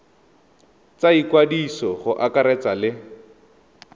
tsa ikwadiso go akaretsa le